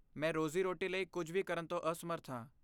ਮੈਂ ਰੋਜ਼ੀ ਰੋਟੀ ਲਈ ਕੁੱਝ ਵੀ ਕਰਨ ਤੋਂ ਅਸਮਰੱਥ ਹਾਂ